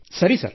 ಸರಿ ಸರ್